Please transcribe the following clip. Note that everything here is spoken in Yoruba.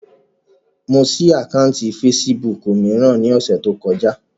Mo ṣí àkáùntì fesibúùkù mìíràn ní ọ̀sẹ̀ tí ó kọjá